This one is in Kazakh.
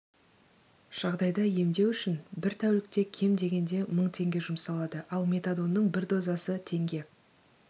жағдайда емдеу үшін бір тәулікте кем дегенде мың теңге жұмсалады ал метадонның бір дозасы теңге